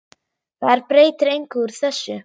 Það er breytir engu úr þessu.